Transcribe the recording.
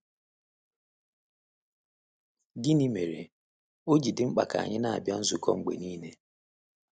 Gịnị mere ọ ji dị mkpa ka anyị na-abịa nzukọ mgbe niile?